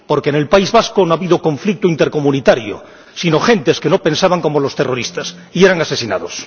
Porque en el País Vasco no ha habido conflicto intercomunitario, sino gentes que no pensaban como los terroristas y eran asesinadas.